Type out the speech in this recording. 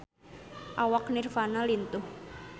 Awak Nirvana lintuh